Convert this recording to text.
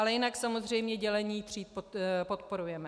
Ale jinak samozřejmě dělení tříd podporujeme.